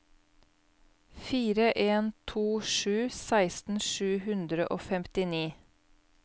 fire en to sju seksten sju hundre og femtini